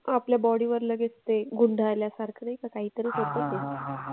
आपल्या body वर लगेच ते गुंडाळल्यासारखं नाही का काही तरी असतं ते.